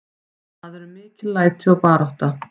Það eru mikil læti og barátta.